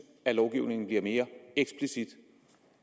at lovgivningen bliver mere eksplicit